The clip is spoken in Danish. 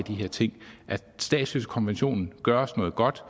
at statsløsekonventionen gør os noget godt